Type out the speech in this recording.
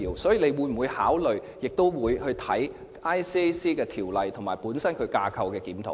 所以，她會否考慮檢討《廉政公署條例》及進行架構檢討？